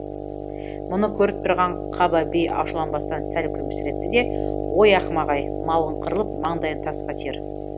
мұны көріп тұрған қаба би ашуланбастан сәл күлімсірепті де ой ақымақ ай малың қырылып маңдайың тасқа тиер